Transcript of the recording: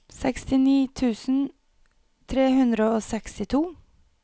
sekstini tusen tre hundre og sekstito